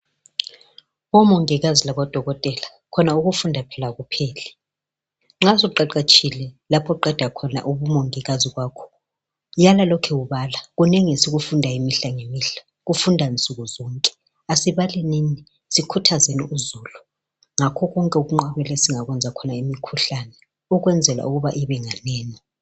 Omongikazi labodokotela khona ukufunda phela kakupheli nxa suqeqetshile lapho oqeda khona ubumongikazi bakho, yana ulokhu ubala kunengi esikufundayo imihla ngemihla kufundwa nsuku zonke. Asibalelini sikhuthazeni uzulu ngakho konke ukunqabela esingakwenza khona imikhuhlane ukwenzela ukuba ibenganeni.